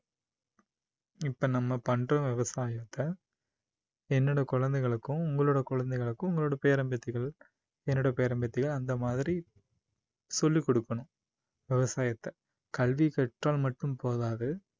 இப்போ நம்ம பண்ற விவசாயத்தை என்னோட குழந்தைகளுக்கும் உங்களோட குழந்தைகளுக்கும் உங்களோட பேரன் பேத்திகள் என்னோட பேரன் பேத்திகள் அந்த மாதிரி சொல்லிக் கொடுக்கணும் விவசாயத்தை கல்வி கற்றால் மட்டும் போதாது